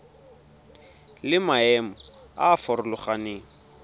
le maemo a a farologaneng